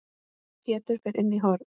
Pétur fer inn í horn.